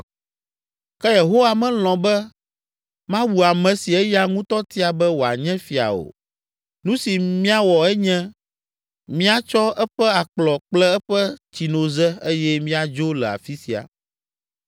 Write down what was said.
Ke Yehowa melɔ̃ be mawu ame si eya ŋutɔ tia be wòanye fia o. Nu si míawɔ enye míatsɔ eƒe akplɔ kple eƒe tsinoze eye míadzo le afi sia!”